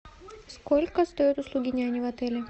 сколько стоят услуги няни в отеле